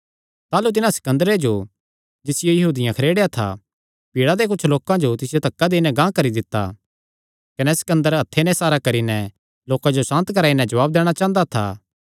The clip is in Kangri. ताह़लू तिन्हां सिकन्दरे जो जिसियो यहूदियां खरेड़ेया था भीड़ा दे कुच्छ लोकां तिसियो धक्का देई नैं गांह करी दित्ता कने सिकन्दर हत्थे नैं इसारा करी नैं लोकां जो सांत कराई नैं जवाब दैणा चांह़दा था